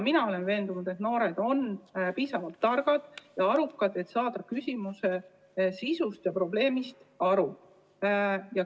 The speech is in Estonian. Mina olen veendunud, et noored on piisavalt targad ja arukad, et saada küsimuse sisust ja probleemist aru.